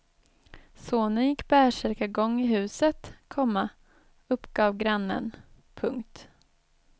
Sonen gick bärsärkargång i huset, komma uppgav grannen. punkt